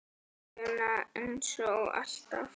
Aleina, eins og alltaf.